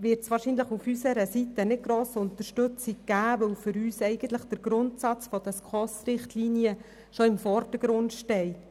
wird dieser Antrag bei unserer Seite nicht grosse Unterstützung finden, weil für uns der Grundsatz der SKOS-Richtlinien im Vordergrund steht.